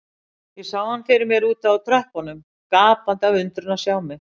Ég sá hann fyrir mér úti á tröppunum, gapandi af undrun að sjá mig.